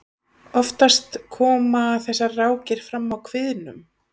oftast koma þessar rákir fram á kviðnum